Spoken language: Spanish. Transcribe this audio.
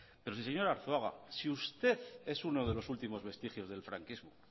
pero si señor arzuaga si usted es uno de los últimos vestigios del franquismo